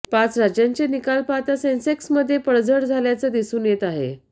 पाच राज्यांचे निकाल पाहता सेन्सक्समध्ये पडझड झाल्याचं दिसून येत आहे